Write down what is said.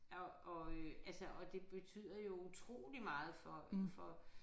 Og og øh altså og det betyder jo utrolig meget for for